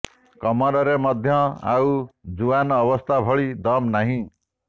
କମରରେ ମଧ୍ୟ ଆଉ ଜୁଆନ୍ ଅବସ୍ଥା ଭଳି ଦମ୍ ନାହିଁ